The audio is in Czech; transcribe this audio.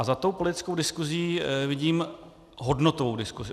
A za tou politickou diskusí vidím hodnotovou diskusi.